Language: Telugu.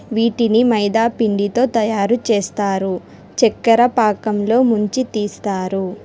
వీటిని మైదా పిండితో తయారు చేస్తారు చెక్కర పాకంలో ముంచి తీస్తారు.